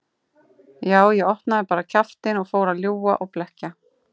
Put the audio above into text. Já, ég opnaði bara kjaftinn og fór að ljúga og blekkja.